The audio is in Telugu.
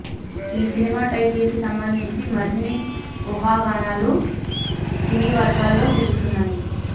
ఈ సినిమా టైటిల్ కి సంబంధించి మరిన్ని ఊహాగానాలు సినీవర్గాల్లో తిరుగుతున్నాయి